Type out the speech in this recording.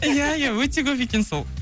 иә иә өте көп екен сол